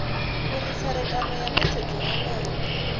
uri tserekano ya netshedzo yeneyo